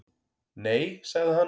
Nei, sagði hann.